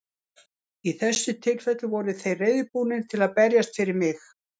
Í þessu tilfelli voru þeir reiðubúnir til að berjast fyrir mig.